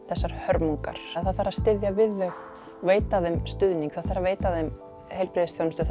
þessar hörmungar það þarf að styðja við þau og veita þeim stuðning það þarf að veita þeim heilbrigðisþjónustu